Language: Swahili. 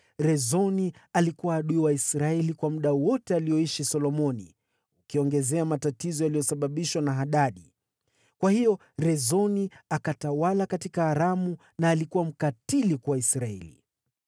Rezoni alikuwa adui wa Israeli kwa muda wote alioishi Solomoni, ukiongezea matatizo yaliyosababishwa na Hadadi. Kwa hiyo Rezoni akatawala katika Aramu na alikuwa mkatili kwa Israeli.